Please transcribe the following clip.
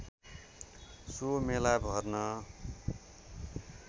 so मेला भर्न